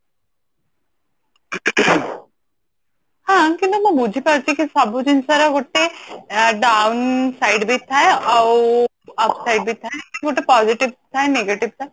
ହଁ କିନ୍ତୁ ମୁଁ ବୁଝି ପାରୁଛି ସବୁ ଜିନିଷ ର ଗୋଟେ down side ବି ଥାଏ ଆଉ up side ବି ଥାଏ ଯେମତି ଗୋଟେ positive ଥାଏ negative ବି ଥାଏ